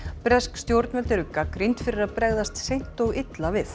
bresk stjórnvöld eru gagnrýnd fyrir að bregðast seint og illa við